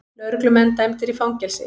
Lögreglumenn dæmdir í fangelsi